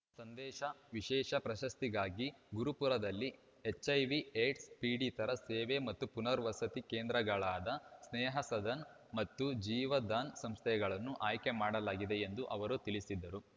ಸಂದೇಶ ವಿಶೇಷ ಪ್ರಶಸ್ತಿಗಾಗಿ ಗುರುಪುರದಲ್ಲಿ ಎಚ್‌ಐವಿಏಡ್ಸ್ ಪೀಡಿತರ ಸೇವೆ ಮತ್ತು ಪುನರ್ವಸತಿ ಕೇಂದ್ರಗಳಾದ ಸ್ನೇಹಸದನ್‌ ಮತ್ತು ಜೀವದಾನ್‌ ಸಂಸ್ಥೆಗಳನ್ನು ಆಯ್ಕೆ ಮಾಡಲಾಗಿದೆ ಎಂದು ಅವರು ತಿಳಿಸಿದರು